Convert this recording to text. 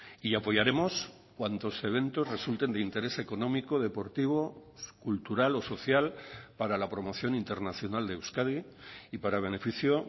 y apoyaremos cuantos eventos resulten de interés económico deportivo cultural o social para la promoción internacional de euskadi y para beneficio